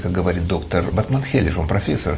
как говорит доктор батмангелидж он профессор